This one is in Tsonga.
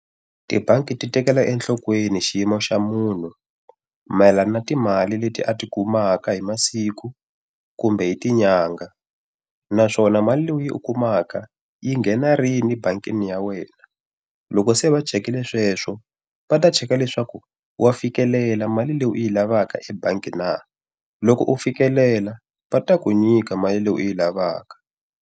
Tibangi ti tekela enhlokweni xiyimo xa munhu mayelana na timali leti a ti kumaka hi masiku kumbe hi ti nyanga. Naswona mali leyi u yi kumaka yi nghena rini ebangini ya wena. Loko se va chikile sweswo va ta cheka leswaku wa fikelela mali leyi u yi lavaka ebangi na. Loko u fikelela va ta ku nyika mali leyi u yi lavaka.